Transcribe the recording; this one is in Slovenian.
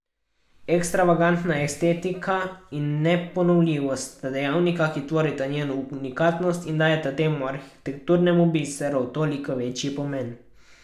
Ekstravagantna estetika in neponovljivost sta dejavnika, ki tvorita njeno unikatnost in dajeta temu arhitekturnemu biseru toliko večji pomen.